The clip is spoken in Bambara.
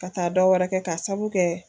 Ka taa dɔ wɛrɛ kɛ k'a sababu kɛ